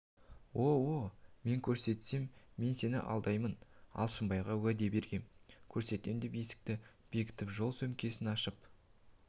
о-о мен көрсетем мен сені алдамаймын алшынбайға уәде бергем көрсетем деп есікті бекітіп жол сөмкесін ашып